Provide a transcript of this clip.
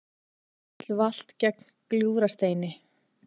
Bíll valt gegnt Gljúfrasteini